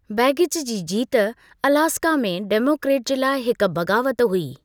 Begich जी जीत Alaska में डेमोक्रेट जे लाइ हिकु बग़ावतु हुई।